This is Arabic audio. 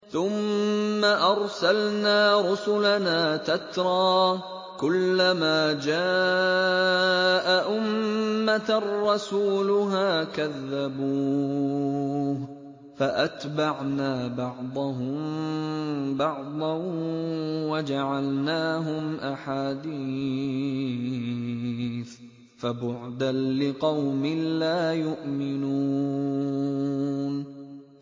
ثُمَّ أَرْسَلْنَا رُسُلَنَا تَتْرَىٰ ۖ كُلَّ مَا جَاءَ أُمَّةً رَّسُولُهَا كَذَّبُوهُ ۚ فَأَتْبَعْنَا بَعْضَهُم بَعْضًا وَجَعَلْنَاهُمْ أَحَادِيثَ ۚ فَبُعْدًا لِّقَوْمٍ لَّا يُؤْمِنُونَ